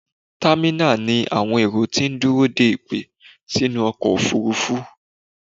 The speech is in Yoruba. Támínà ni àwọn èrò ti dúró de ìpè sínú ọkọ̀ òfurufú.